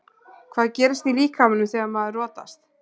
Hvað gerist í líkamanum þegar maður rotast?